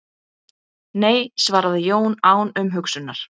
Nei svaraði Jón án umhugsunar.